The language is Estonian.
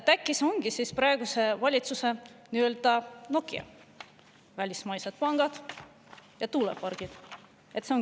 Äkki see ongi praeguse valitsuse nii-öelda Nokia: välismaised pangad ja tuulepargid?